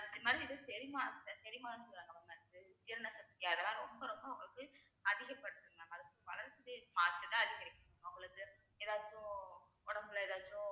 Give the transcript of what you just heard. இது மாதிரி இது செரிமானத்திலே செரிமானம்னு mam ஜீரண சக்தி அதெல்லாம் ரொம்ப ரொம்ப உங்களுக்கு அதிகப்படுத்தும் mam வளர்ந்துட்டே அவங்களுக்கு ஏதாச்சும் உடம்புல ஏதாச்சும்